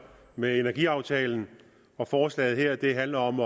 med energiaftalen forslaget her handler om